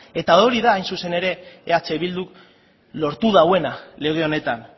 eta hori da hain zuzen ere eh bilduk lortu duena lege honetan